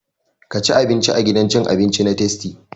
Ka ci abinci a gidan cin abinci na tastia!